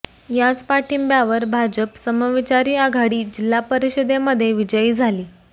याच पाठिंब्यावर भाजप समविचारी आघाडी जिल्हा परिषदेमध्ये विजयी झाली